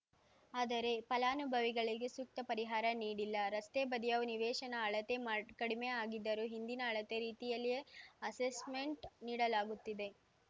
ಆದರೆ ಫಲಾನುಭವಿಗಳಿಗೆ ಸೂಕ್ತ ಪರಿಹಾರ ನೀಡಿಲ್ಲ ರಸ್ತೆ ಬದಿಯ ನಿವೇಶನ ಅಳತೆ ಮಾಡ್ ಕಡಿಮೆ ಆಗಿದ್ದರೂ ಹಿಂದಿನ ಅಳತೆ ರೀತಿಯಲ್ಲಿಯೇ ಅಸೆಸ್ಮೆಂಟ್‌ ನೀಡಲಾಗುತ್ತಿದೆ